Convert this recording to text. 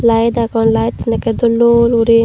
light agon lightun ekkey dol dol guri.